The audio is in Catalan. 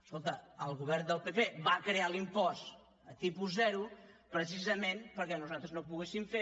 escolta el govern del pp va crear l’impost a tipus zero precisament perquè nosaltres no poguéssim fer